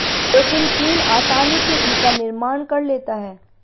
लेकिन चीन आसानी से इनका निर्माण कर लेता है